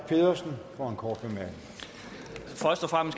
mig over